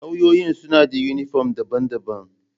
Lauyoyin suna da uniform daban-daban.